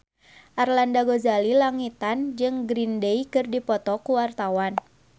Arlanda Ghazali Langitan jeung Green Day keur dipoto ku wartawan